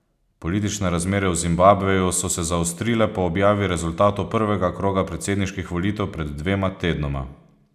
Politične razmere v Zimbabveju so se zaostrile po objavi rezultatov prvega kroga predsedniških volitev pred dvema tednoma.